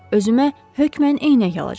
Özümə hökmən eynək alacağam.